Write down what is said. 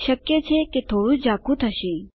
શક્ય છે કે તે થોડું ઝાખું થાય